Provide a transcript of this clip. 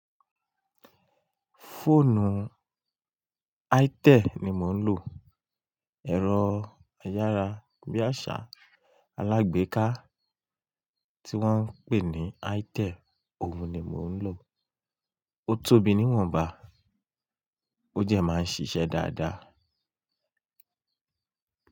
Fóònù Itel ni mò ń lò. Ẹ̀rọ ayárabíàṣá alágbèéká tí wón ń pè ní Itel, òun ni mò ń lò. Ó tóbi níwọ̀nba, ó dẹ máa ń ṣiṣẹ́ dáadáa.